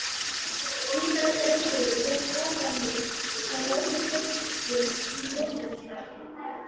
Hitaveita Reykjavíkur hóf boranir á Norður Reykjum í Mosfellsdal.